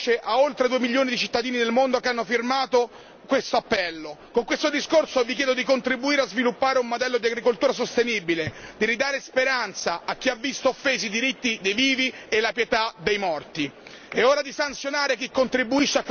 Con questa risoluzione noi intendiamo dare voce a oltre due milioni di cittadini del mondo che hanno firmato questo appello. Con questo discorso vi chiedo di contribuire a sviluppare un modello di agricoltura sostenibile, di ridare speranza a chi ha visto offesi diritti dei vivi e la pietà dei morti.